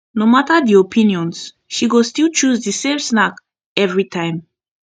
no matter the options she go still choose the same snack every time